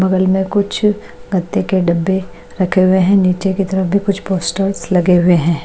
बगल में कुछ गत्ते के डब्बे रखे हुए हैं नीचे की तरफ भी कुछ पोस्टर्स लगे हुए हैं।